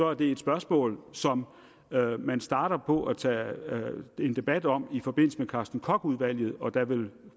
er det et spørgsmål som man starter på at tage en debat om i forbindelse med carsten koch udvalget og der vil